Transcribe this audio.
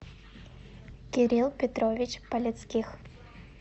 кирилл петрович палецких